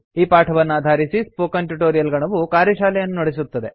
ಈ ಪಾಠವನ್ನಾಧಾರಿಸಿ spoken tutorial ಗಣವು ಕಾರ್ಯಶಾಲೆಯನ್ನು ನಡೆಸುತ್ತದೆ